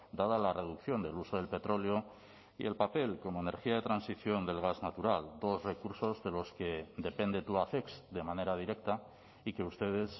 dada la reducción del uso del petróleo y el papel como energía de transición del gas natural dos recursos de los que depende tubacex de manera directa y que ustedes